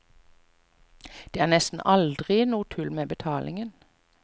Der er det nesten aldri noe tull med betalingen.